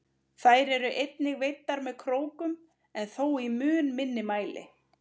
Þær eru einnig veiddar með krókum en þó í mun minni mæli.